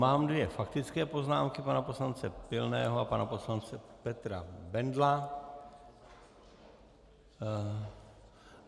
Mám dvě faktické poznámky - pana poslance Pilného a pana poslance Petra Bendla.